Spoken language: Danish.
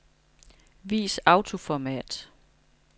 Vis autoformat.